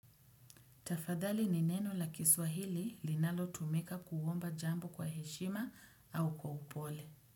Tafadhali ni neno la kiswahili linalo tumika kuomba jambo kwa heshima au kwa upole.